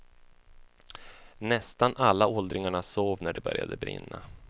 Nästan alla åldringarna sov när det började brinna.